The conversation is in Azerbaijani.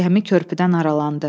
Gəmi körpüdən aralandı.